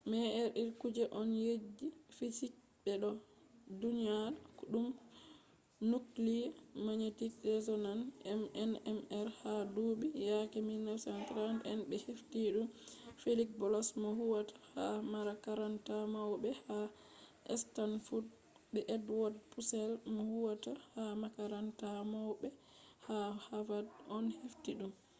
mri kuje on je fisiks ɓe ɗo ɗyona ɗum nukliye magnetic resonans nmr ha duuɓi yake 1930 en ɓe hefti ɗum feliks bloch mo huwata ha makaranta mauɓe ha stanfod be edwod pusel mo huwata ha makaranta maubɓe ha havad on hefti ɗum